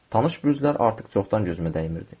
Tanış bürclər artıq çoxdan gözümə dəymirdi.